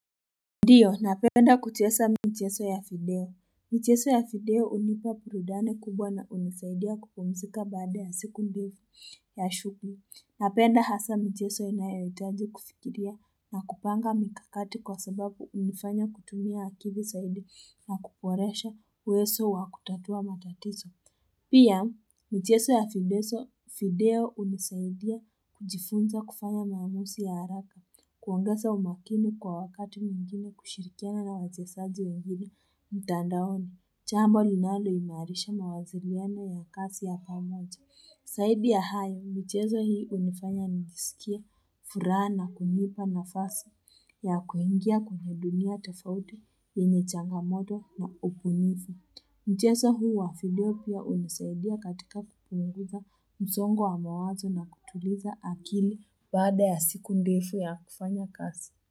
Ndiyo, napenda kuchesa mcheso ya fideo. Mcheso ya fideo unipa purudani kubwa na unisaidia kupumzika baada ya siku ndio ya shukri. Napenda hasa mcheso inayaitaji kufikiria na kupanga mikakati kwa sababu unifanya kutumia akili saidi na kuporesha uwezo wa kutatua matatiso. Pia, mcheso ya fideso, fideo unisaidia kujifunza kufanya maamusi ya haraka, kuongesa umakini kwa wakati mwingine kushirikiana na wachesaji wengine mtandaoni. Chambo linaloinaarisha mawaziliano ya kasi ya pamoja. Saidi ya haya, micheso hii unifanya nisikie furaa kunipa nafasi ya kuingia kwenye dunia tofaudi yenye changamodo na upunivu. Mjeso huu wa fidio pia unisaidia katika kupunguza mzongo wa mawazo na kutuliza akili baada ya siku ndefu ya kufanya kasi.